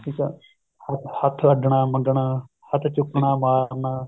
ਠੀਕ ਏ ਹੱਥ ਅੱਡਣਾ ਮੰਗਨਾ ਹੱਥ ਚੁੱਕਣਾ ਮਾਰਨਾ